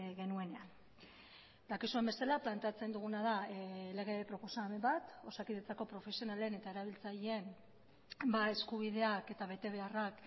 genuenean dakizuen bezala planteatzen duguna da lege proposamen bat osakidetzako profesionalen eta erabiltzaileen eskubideak eta betebeharrak